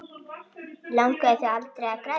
Langaði þig aldrei að grenja?